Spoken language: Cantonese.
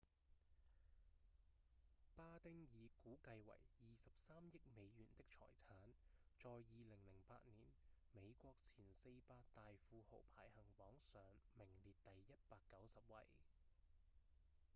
巴汀以估計為23億美元的財產在2008年美國前四百大富豪排行榜上名列第190位